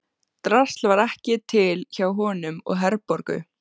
Drasl var ekki til hjá honum og Herborgu.